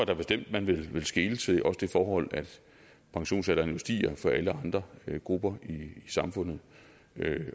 da bestemt at man vil skele til også det forhold at pensionsalderen jo stiger for alle andre grupper i samfundet